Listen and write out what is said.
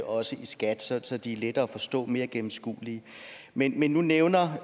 også i skat så de er lettere at forstå og mere gennemskuelige men men nu nævner